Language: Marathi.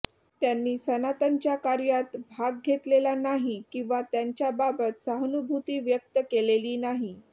त्यांनी सनातनच्या कार्यात भाग घेतलेला नाही किंवा त्यांच्याबाबत सहानुभूती व्यक्त केलेली नाही